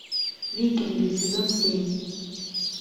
викинги сезон семь